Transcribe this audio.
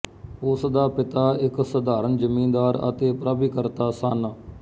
ਉਸ ਦਾ ਪਿਤਾ ਇੱਕ ਸਧਾਰਨ ਜਮੀਂਦਾਰ ਅਤੇ ਪ੍ਰਾਭਿਕਰਤਾ ਸਨ